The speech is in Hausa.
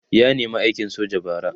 ya nema aikin soja bara